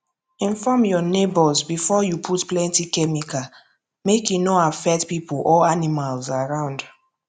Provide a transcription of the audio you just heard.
inform your neighbours before you put plenty chemical make e no affect people or animals around